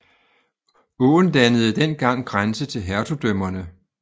Åen dannede den gang grænse til hertugdømmerne